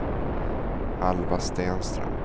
Alva Stenström